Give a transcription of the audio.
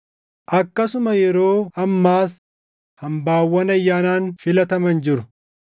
Akkasuma yeroo ammaas hambaawwan ayyaanaan filataman jiru.